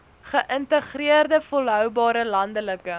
geïntegreerde volhoubare landelike